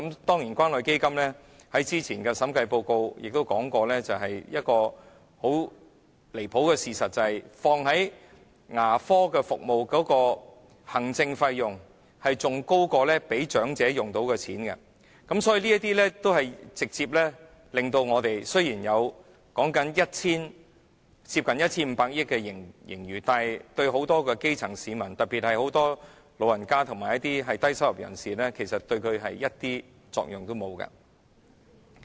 當然，關於關愛基金，早前的審計報告亦指出一個很離譜的事實，便是投放在牙科服務的行政費用比長者可以用到的錢更高，所以雖然說有接近 1,500 億元的盈餘，但對很多基層市民，特別是眾多長者和低收入人士而言，其實是完全沒有作用的。